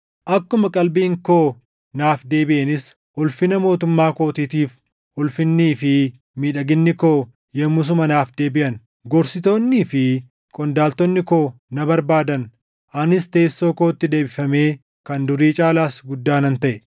Akkuma qalbiin koo naaf deebiʼeenis, ulfina mootummaa kootiitiif ulfinnii fi miidhaginni koo yommusuma naaf deebiʼan. Gorsitoonnii fi qondaaltonni koo na barbaadan; anis teessoo kootti deebifamee kan durii caalaas guddaa nan taʼe.